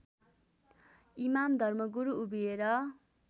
इमाम धर्मगुरु उभिएर